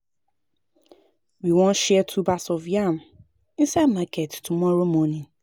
We wan share tubers of yam inside market tomorrow morning